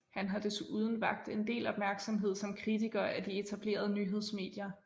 Han har desuden vakt en del opmærksomhed som kritiker af de etablerede nyhedsmedier